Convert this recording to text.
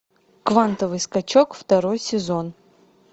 квантовый скачок второй сезон